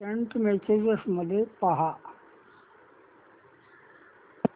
Saint messages मध्ये पहा